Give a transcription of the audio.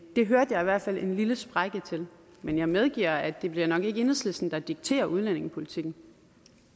der hørte jeg i hvert fald en lille sprække men jeg medgiver at det nok ikke bliver enhedslisten der dikterer udlændingepolitikken